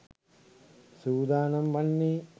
සූදානම් වන්නේ.